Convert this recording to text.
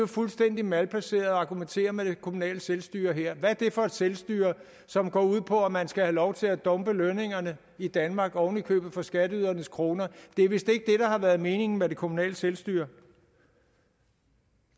fuldstændig malplaceret at argumentere med det kommunale selvstyre her hvad er det for et selvstyre som går ud på at man skal have lov til at dumpe lønningerne i danmark oven i købet for skatteydernes kroner det er vist ikke det har været meningen med det kommunale selvstyre